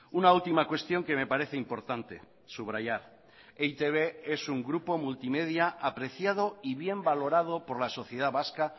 una última cuestión que me parece importante subrayar e i te be es un grupo multimedia apreciado y bien valorado por la sociedad vasca